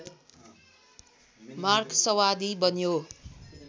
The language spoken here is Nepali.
मार्क्सवादी बन्यो